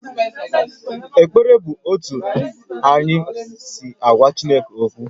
Ekpere bụ otú anyị si agwa Chineke okwu